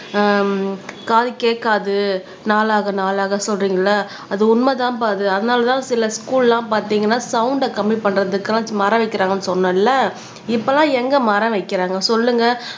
ஹம் காது கேட்காது நாளாக நாளாக சொல்றீங்கல்ல அது உண்மைதான்பா அது அதனாலதான் சில ஸ்க்கூல் எல்லாம் பார்த்தீங்கன்னா சவுண்ட கம்மி பண்றதுக்கு எல்லாம் மரம் வைக்கறாங்கன்னு சொன்னேன் இல்ல இப்பெல்லாம் எங்க மரம் வைக்கறாங்க சொல்லுங்க